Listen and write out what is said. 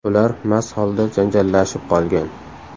Ular mast holda janjallashib qolgan.